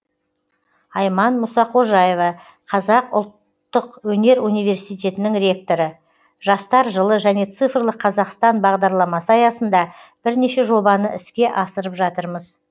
айман мұсақожаева қазақ ұлттық өнер университетінің ректоры жастар жылы және цифрлық қазақстан бағдарламасы аясында бірнеше жобаны іске асырып жатырмыз